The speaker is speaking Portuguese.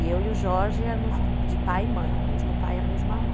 E eu e o Jorge éramos de pai e mãe, o mesmo pai e a mesma mãe.